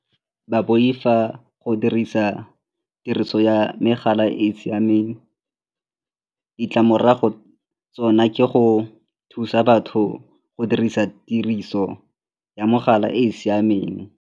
Ba boifa go dirisa tiriso ya megala e e siameng. Ditlamorago tsona ke go thusa batho go dirisa tiriso ya mogala e e siameng.